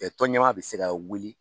tɔn ɲɛmaa bɛ se ka wuli